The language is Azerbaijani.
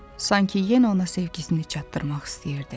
Sanki yenə ona sevgisini çatdırmaq istəyirdi.